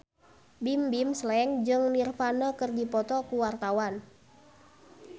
Bimbim Slank jeung Nirvana keur dipoto ku wartawan